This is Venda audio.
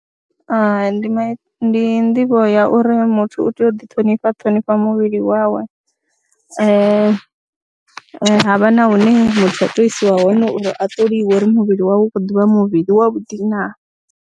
Hai, ndi ndi nḓivho ya uri muthu u tea u ḓiṱhonifha a ṱhonifha muvhili wawe ha vha na hune muthu a tou isiwa hone uri a ṱoliwe uri muvhili wawe u khou ḓi vha muvhili wavhuḓi naa.